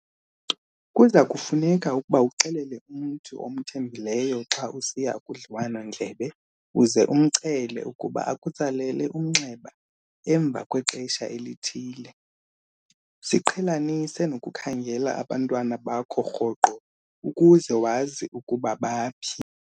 Kuza kufuneka ukuba uxelele umntu omthembileyo xa usiya kudliwano-ndlebe uze umcele ukuba akutsalele umnxeba emva kwexesha elithile. Ziqhelanise nokukhangela abantwana bakho rhoqo, ukuze wazi ukuba baphi.